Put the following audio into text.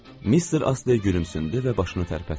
Mister Astley gülümsündü və başını tərpətdi.